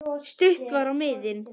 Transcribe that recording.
Stutt var á miðin.